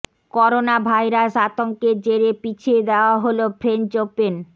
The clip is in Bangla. করোনা ভাইরাস আতঙ্কের জেরে পিছিয়ে দেওয়া হল ফ্রেঞ্চ ওপেন